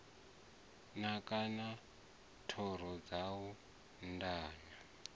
naka na thoro dzawo ndenya